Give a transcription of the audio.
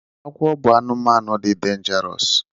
Agwọ bụ anụmanụ dị denjarosu.